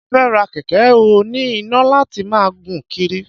Mo fẹ́ ra kẹ̀kẹ́ oní iná láti máa gùn kiri